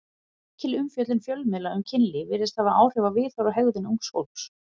Mikil umfjöllun fjölmiðla um kynlíf virðist hafa áhrif á viðhorf og hegðun ungs fólks.